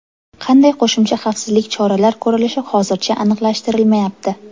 Qanday qo‘shimcha xavfsizlik choralar ko‘rilishi hozircha aniqlashtirilmayapti.